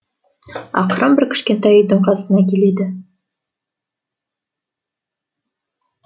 ақыры бір кішкентай үйдің қасына келеді